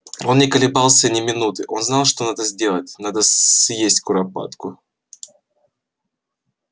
он не колебался ни минуты он знал что надо сделать надо съесть куропатку